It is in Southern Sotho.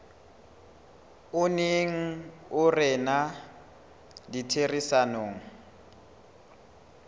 o neng o rena ditherisanong